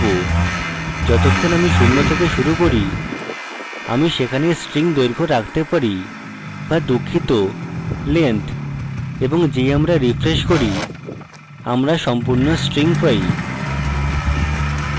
যতক্ষন আমি শূন্য থেকে শুরু করি আমি সেখানে string দৈর্ঘ্য রাখতে পারি বা দুঃখিত length এবং যেই আমরা refresh করি আমরা সম্পূর্ণ string পাই